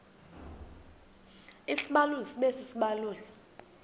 isibaluli sibe sisibaluli